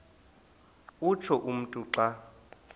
utsho umntu xa